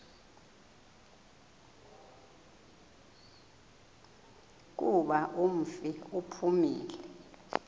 kuba umfi uphumile